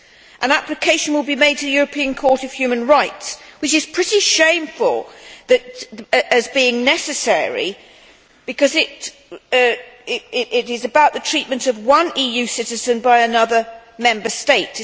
An application will be made to the European Court of Human Rights, and it is pretty shameful that this is necessary, because this is about the treatment of one EU citizen by another Member State.